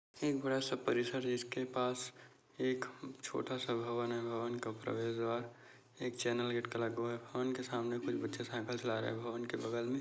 एक बड़ा सा परिसर है जिसके पास एक छोटा सा भवन है भवन का प्रवेश द्वार एक चैनल गेट का लगा हुआ-- भवन के सामने कुछ बच्चे साइकल चला रहे है भवन के बगल में --